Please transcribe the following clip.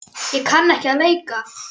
Ég kann ekki að leika.